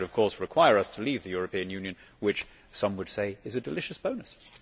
That would of course require us to leave the European Union, which some would say is a delicious bonus.